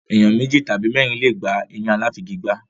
Ènìyàn méjì tàbí mẹ́ẹ́rin le è gbà ẹyin aláfigigbá.